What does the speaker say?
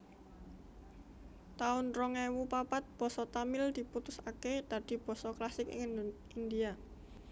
taun rong ewu papat Basa Tamil diputusaké dadi basa Klasik ing India